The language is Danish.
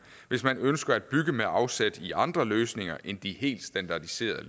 hvis man ønsker at bygge med afsæt i andre løsninger end de helt standardiserede